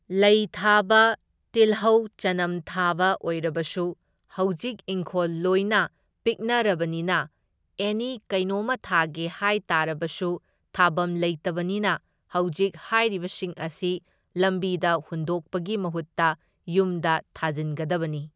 ꯂꯩ ꯊꯥꯕ, ꯇꯤꯜꯍꯧ ꯆꯅꯝ ꯊꯥꯕ ꯑꯣꯏꯕꯔꯁꯨ ꯍꯧꯖꯤꯛ ꯢꯪꯈꯣꯜ ꯂꯣꯏꯅ ꯄꯤꯛꯅꯔꯕꯅꯤꯅ ꯑꯦꯅꯤ ꯀꯩꯅꯣꯝꯃ ꯊꯥꯒꯦ ꯍꯥꯏ ꯇꯥꯔꯕꯁꯨ ꯊꯥꯕꯝ ꯂꯩꯇꯕꯅꯤꯅ ꯍꯧꯖꯤꯛ ꯍꯥꯏꯔꯤꯕꯁꯤꯡ ꯑꯁꯤ ꯂꯝꯕꯤꯗ ꯍꯨꯟꯗꯣꯛꯄꯒꯤ ꯃꯍꯨꯠꯇ ꯌꯨꯝꯗ ꯊꯥꯖꯤꯟꯒꯗꯕꯅꯤ꯫